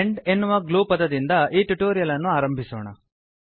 and ಎನ್ನುವ glue ಪದದಿಂದ ಈ ಟ್ಯುಟೋರಿಯಲ್ ಅನ್ನು ಆರಂಭಿಸೋಣ